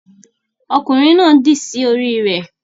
Ọkunrin náà dì sí orí rẹ